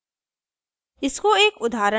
end